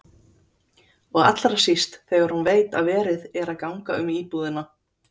Og allra síst þegar hún veit að verið er að ganga um íbúðina.